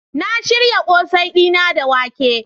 Na shirya kose dina da wake.